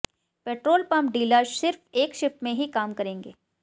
petrol pump dealer सिर्फ एक shift में ही काम करेंगे